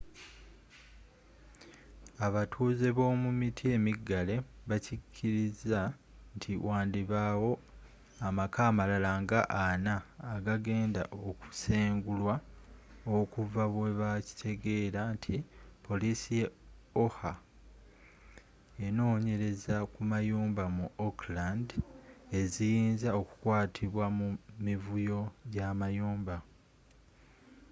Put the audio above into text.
abatuuze b'omu miti emiggale bakiriza nti wandibawo amaka amalala nga 40 agageenda okusengulwa okuva bwebakitegeera nti poliisi ye oha enonyereza kumayumba mu oakland eziyinza okukwatibwa mu mivuyo gyamayumba